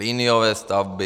Liniové stavby...